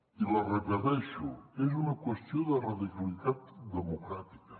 i l’hi repeteixo és una qüestió de radicalitat democràtica